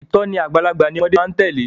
Ìtòní àgbàlagbà ni ọmọde máa tèlé.